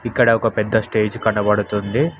ఇక్కడ ఒక పెద్ద స్టేజ్ కనబడుతుంది.